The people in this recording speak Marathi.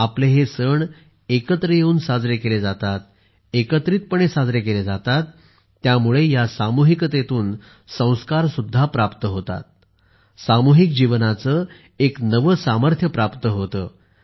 आपले हे सण एकत्र येऊन साजरे केले जातात एकत्रितपणे साजरे केले जातात त्यामुळे या सामूहिकतेतून संस्कार सुद्धा प्राप्त होतात सामूहिक जीवनाचे एक नवे सामर्थ्य प्राप्त होते